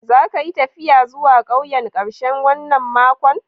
Za ka yi taffiya zuwa ƙauyen karshen wanan makon?